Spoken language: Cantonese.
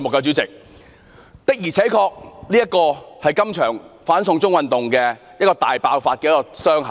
主席，"六一二"事件確實是這場"反送中"運動的第一道傷口。